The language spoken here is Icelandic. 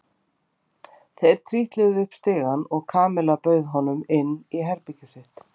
Þau trítluðu upp stigann og Kamilla bauð honum inn í herbergið sitt.